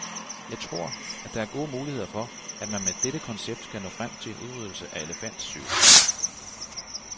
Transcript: Jeg tror, at der er gode muligheder for, at man med dette koncept kan nå frem til en udryddelse af elefantsygen.